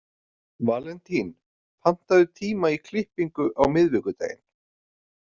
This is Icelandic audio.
Valentín, pantaðu tíma í klippingu á miðvikudaginn.